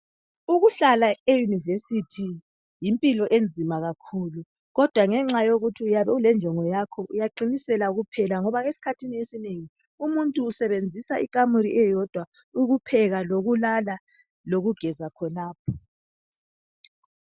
Ukuhlala eyunivesithi yimphilo enzima kakhulu. Kodwa ngenxa yokuthi uyabe ulenjongo yakho, uyaqinisela kuphela, ngoba esikhathini esinengi, umuntu usebenzisa ikhamuli eyondwa, ukupheka lokulala, lokugeza khonapho.